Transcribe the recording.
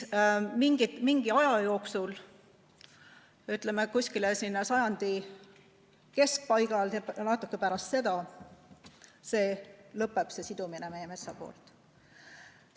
Mingi aja jooksul, ütleme, seal sajandi keskpaigaks ja või natuke pärast seda, see sidumine meie metsa poolt lõpeb.